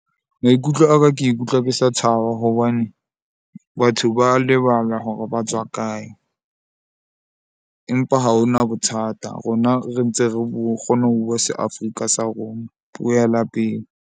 Maikutlo a ka ke ikutlwa ke sa thaba hobane batho ba lebala hore ba tswa kae. Empa ha ho na bothata, rona re ntse re kgona ho bua se Afrika sa rona, puo ya lapeng.